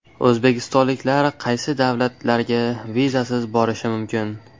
O‘zbekistonliklar qaysi davlatlarga vizasiz borishi mumkin?.